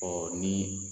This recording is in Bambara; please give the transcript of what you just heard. Ɔ ni